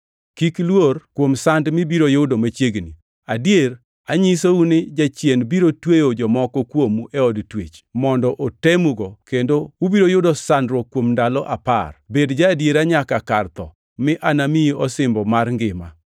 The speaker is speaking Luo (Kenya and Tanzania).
Kik iluor kuom sand ma ibiro yudo machiegni. Adier, anyisou ni Jachien biro tweyo jomoko kuomu e od twech mondo otemugo kendo ubiro yudo sandruok kuom ndalo apar. Bed ja-adiera nyaka kar tho mi anamiyi osimbo mar ngima.